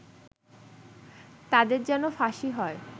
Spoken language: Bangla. তাদের যেন ফাঁসি হয়